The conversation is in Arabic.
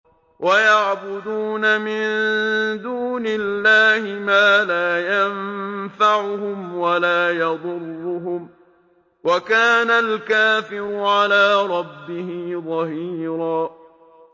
وَيَعْبُدُونَ مِن دُونِ اللَّهِ مَا لَا يَنفَعُهُمْ وَلَا يَضُرُّهُمْ ۗ وَكَانَ الْكَافِرُ عَلَىٰ رَبِّهِ ظَهِيرًا